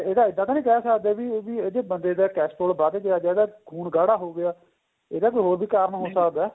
ਇਹਦਾ ਇੱਦਾਂ ਤਾਂ ਨਹੀਂ ਕਹਿ ਸਕਦੇ ਵੀ ਬੰਦੇ ਦਾ cholesterol ਵੱਧ ਗਿਆ ਜਾਂ ਇਹਦਾ ਖੂਨ ਗਾੜਾ ਹੋ ਗਿਆ ਇਹਦਾ ਕੋਈ ਹੋਰ ਵੀ ਕਾਰਨ ਹੋ ਸਕਦਾ ਏ